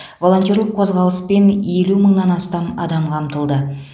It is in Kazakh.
волонтерлік қозғалыспен елу мыңнан астам адам қамтылды